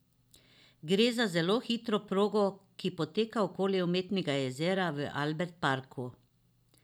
Gre za zelo hitro progo, ki poteka okoli umetnega jezera v Albert Parku.